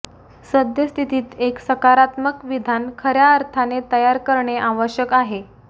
सद्यस्थितीत एक सकारात्मक विधान खर्या अर्थाने तयार करणे आवश्यक आहे